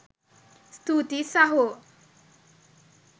ස්තුතියි සහො!